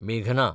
मेघना